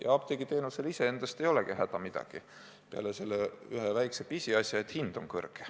Ja apteegiteenusel iseendast ei olegi häda midagi, peale selle ühe väikse pisiasja, et hind on kõrge.